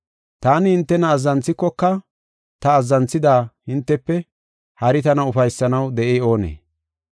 Taani hintena azzanthikoka ta azzanthida hintefe hari tana ufaysanaw de7ey oonee?